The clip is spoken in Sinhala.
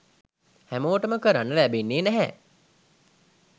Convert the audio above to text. හැමෝටම කරන්න ලැබෙන්නෙ නැහැ.